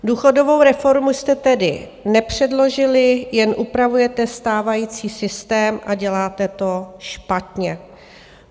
Důchodovou reformu jste tedy nepředložili, jen upravujete stávající systém, a děláte to špatně.